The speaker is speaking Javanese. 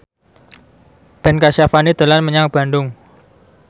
Ben Kasyafani dolan menyang Bandung